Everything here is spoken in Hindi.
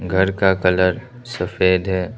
घर का कलर सफेद है।